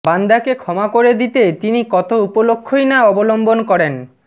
বান্দাকে ক্ষমা করে দিতে তিনি কত উপলক্ষ্যই না অবলম্বন করেন